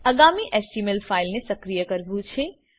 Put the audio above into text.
અગામી HTML file ને સક્રિય કરવું છે